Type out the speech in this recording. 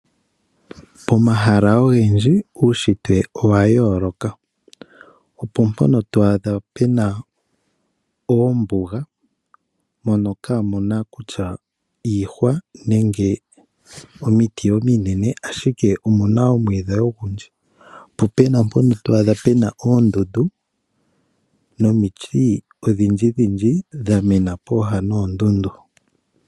Omahala ogendji uunshitwe owa yooloka. Opo mpono twaadha, oombuga mono kaamuna kutya iihwa nenge omiti ominene ashike, omuna omwiidhi ogundji. Po Pena mpono twaadha peba oondundu, nomiti odhindjidhindji dha Mena pooha noondundu.